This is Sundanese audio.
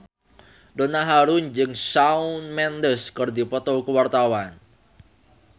Donna Harun jeung Shawn Mendes keur dipoto ku wartawan